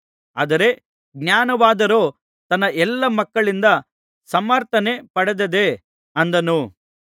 ಆದರೆ ಜ್ಞಾನವಾದರೋ ತನ್ನ ಎಲ್ಲಾ ಮಕ್ಕಳಿಂದ ಸಮರ್ಥನೆ ಪಡೆದದೆ ಅಂದನು